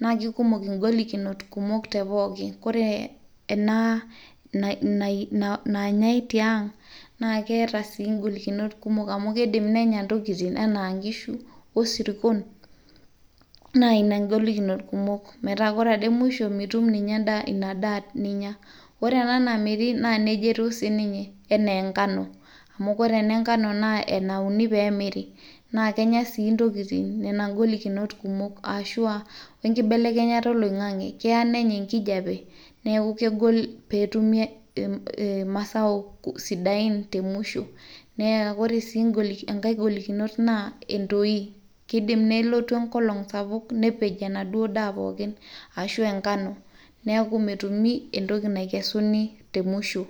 naa kikumok ingolikinot kumok te pooki kore ena naa nanyay tiang naa keeta sii ingolikinot kumok amu kidim nenya intokitin enaa inkishu osirkon naa ina ingolikinot kumok metaa kore ade musho mitum ninye endaa ina daa ninyia, ore ena namiri naa nejia etiu siininye enaa enkano amu kore enenkano naa enauni peemiri naa kenya sii ntokitin nena ingolikinot kumok ashua wenkibelekenyata oloing'ang'e keya nenya enkijape neeku kegol peetumi ee masao sidain temusho neya ore sii enkay golikinot naa entoi kidim neloyu enkolong sapuk nepej enaduo daa pookin ashua enkano neeku metumi entoki naikesuni te musho.